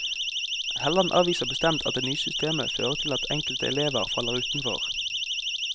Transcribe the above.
Helland avviser bestemt at det nye systemet fører til at enkelte elever faller utenfor.